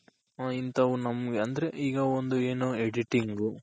ಇಂತವು ನಮ್ಗ್ ಅಂದ್ರೆ ಈಗ ಒಂದು ಏನು Editing